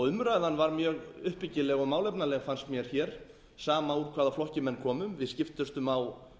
umræðan varð mjög uppbyggileg og málefnaleg fannst mér hér sama úr hvaða flokki menn komu við skiptumst á